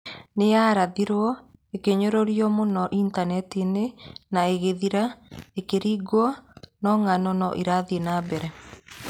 Nĩ yarathĩtwo, ĩkĩnyũrũrio mũno Intaneti-inĩ, na ĩgĩthira ĩkĩrigwo no ng'ano no irathiĩ na mbere.